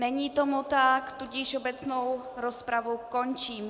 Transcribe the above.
Není tomu tak, takže obecnou rozpravu končím.